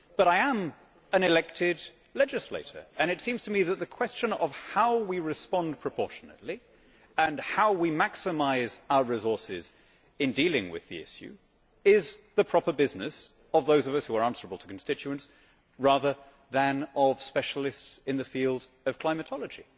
But I am an elected legislator, and it seems to me that the question of how we respond proportionately and how we maximise our resources in dealing with the issue is the proper business of those of us who are answerable to constituents rather than of specialists in the field of climatology.